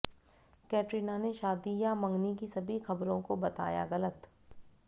कैटरीना ने शादी या मंगनी की सभी ख़बरों को बताया ग़लत